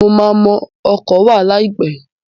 Mo máa mọ ọkọ̀ wà láìpẹ́.